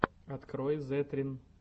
открой зэтрин